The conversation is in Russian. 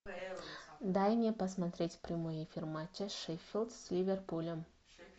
дай мне посмотреть прямой эфир матча шеффилд с ливерпулем